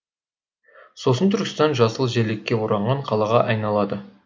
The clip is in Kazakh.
сосын түркістан жасыл желекке оранған қалаға айналады